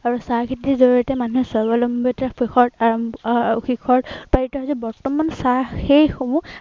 আৰু চাহ খেতিৰ জড়িয়তে মানুহে স্বাৱলম্বিতাৰ আহ শিখৰ আহ আহ শিখৰ পাইছেহি। বৰ্তমান চাহ সেই সমূহ